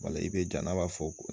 wala i be janaba fɔ ko